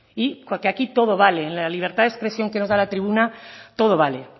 porque aquí todo vale la libertad de expresión que nos da la tribuna todo vale